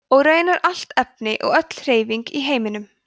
og raunar allt efni og öll hreyfing í heiminum